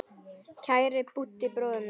Kæri Búddi bróðir minn.